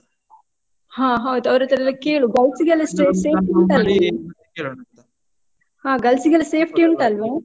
ಹ ಹೌದು, ಅವ್ರ ಹತ್ರಾಯೆಲ್ಲ ಕೇಳು. girls ಗೆಲ್ಲಾ safe safety ಉಂಟಲ್ಲಾ ಅಲ್ಲಿ? ಹ girls ಗೆಲ್ಲಾ safety ಉಂಟಲ್ವಾ?